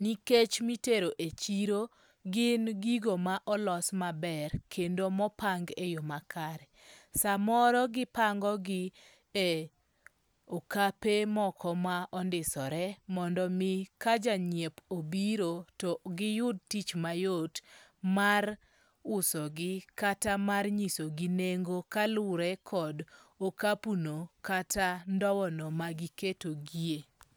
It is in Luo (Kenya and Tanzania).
Nikech mitero e chiro gin gigo ma olos maber kendo mopang e yo makare. Samoro gipango gi e okape moko ma ondisore mondo mi ka janyiep obiro to giyud tich mayot mar uso gi kata mar nyisogi nengo ka lure kod okapu no kata ndow no magiketogie.